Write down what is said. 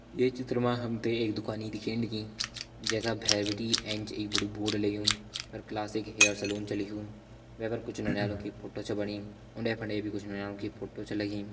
ये चित्र मा हम त एक दुकानि दिखेण लगीं जैका भैर बिटि एंच एक बड़ू बोर्ड लग्युं जै पर क्लासिक हेयर सलून छ लिख्युं वै पर कुछ नौनियाल की फोटो छ बणी उंडे फुंडे भी नौनियाल की फोटो छ लगीं।